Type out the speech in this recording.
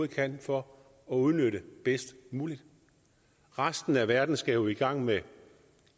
kan for at udnytte bedst muligt resten af verden skal jo i gang med